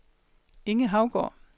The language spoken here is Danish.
Inge Haugaard